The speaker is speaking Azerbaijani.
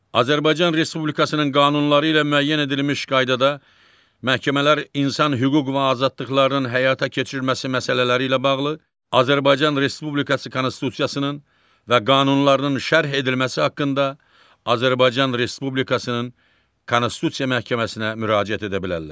Azərbaycan Respublikasının qanunları ilə müəyyən edilmiş qaydada məhkəmələr insan hüquq və azadlıqlarının həyata keçirilməsi məsələləri ilə bağlı Azərbaycan Respublikası Konstitusiyasının və qanunlarının şərh edilməsi haqqında Azərbaycan Respublikasının Konstitusiya Məhkəməsinə müraciət edə bilərlər.